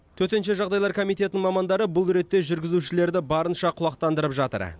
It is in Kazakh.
төтенше жағдайлар комитетінің мамандары бұл ретте жүргізушілерді барынша құлақтандырып жатыр